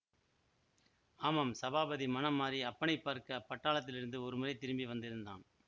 ஆமாம் சபாபதி மனம் மாறி அப்பனைப் பார்க்க பட்டாளத்திலிருந்து ஒருமுறை திரும்பி வந்திருந்தான்